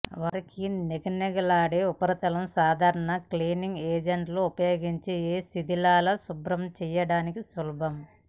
వారి నిగనిగలాడే ఉపరితల సాధారణ క్లీనింగ్ ఏజెంట్లు ఉపయోగించి ఏ శిధిలాల శుభ్రం చేయడానికి సులభం